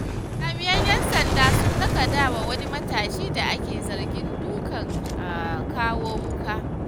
Jami'an 'yan sanda sun lakaɗawa wani matashi da ake zargi dukan kawo-wuƙa.